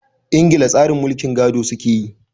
Ingila tsarin mulkin gado su ke yi.